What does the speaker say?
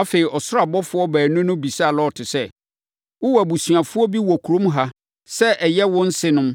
Afei, ɔsoro abɔfoɔ baanu no bisaa Lot sɛ, “Wowɔ abusuafoɔ bi wɔ kurom ha sɛ ɛyɛ wo nsenom,